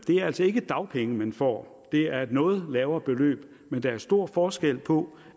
altså ikke dagpenge man får det er et noget lavere beløb men der er stor forskel på